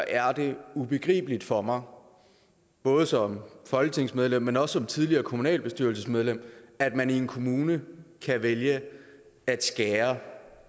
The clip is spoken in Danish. er det ubegribeligt for mig både som folketingsmedlem men også som tidligere kommunalbestyrelsesmedlem at man i en kommune kan vælge at skære